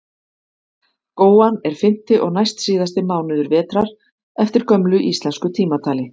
góan er fimmti og næstsíðasti mánuður vetrar eftir gömlu íslensku tímatali